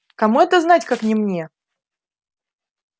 кому это знать как не мне